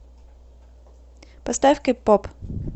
поставь кэ поп